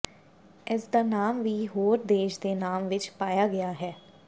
ਇਸ ਦਾ ਨਾਮ ਵੀ ਹੋਰ ਦੇਸ਼ ਦੇ ਨਾਮ ਵਿਚ ਪਾਇਆ ਗਿਆ ਹੈ